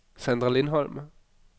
Sandra Lindholm